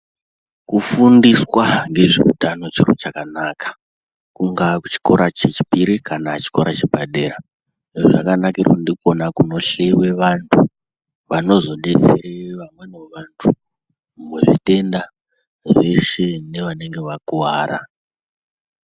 Kufundiswa ngezveutano chiro chakanaka kungaa kuchikora chechipiri kana chikora chepadera zvakanakira kuti ndikona kunohleyiwe vanthu vanozodetsere vamweniwo vanthu muzvitenda zveshe nevanenge vakuwara.